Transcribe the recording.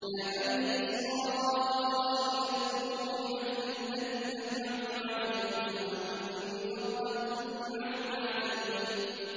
يَا بَنِي إِسْرَائِيلَ اذْكُرُوا نِعْمَتِيَ الَّتِي أَنْعَمْتُ عَلَيْكُمْ وَأَنِّي فَضَّلْتُكُمْ عَلَى الْعَالَمِينَ